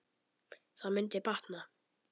Það mundi batna.